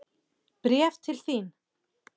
Bréf til þín.